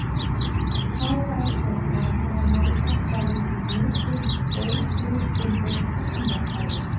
Þá væru þeir farnir að nálgast dálítið mikið óhlutbundið kosningakerfi.